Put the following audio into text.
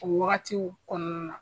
O wagatiw kɔnɔna na.